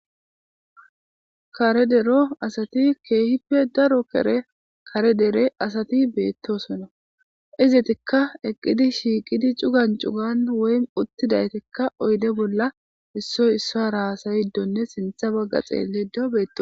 kare dero asati keehippe daro kere kare dere asati beettosonna izitikka eqqidi shiiqidi cugan cugan woy uttidaytikka oyde bolla issoy issa raasayiddonne sintha bagga xeellido beetto